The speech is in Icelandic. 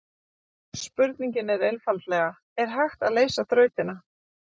Spurningin er einfaldlega: Er hægt að leysa þrautina?